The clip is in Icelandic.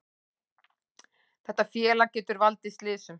Þetta félag getur valdið slysum,